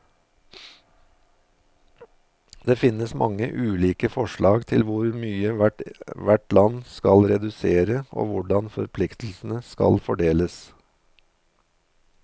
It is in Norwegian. Det finnes mange ulike forslag til hvor mye hvert land skal redusere, og hvordan forpliktelsene skal fordeles.